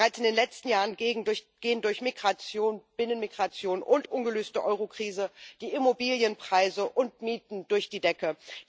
Bereits in den letzten Jahren gehen durch Migration, Binnenmigration und ungelöste Eurokrise die Immobilienpreise und Mieten durch die Decke.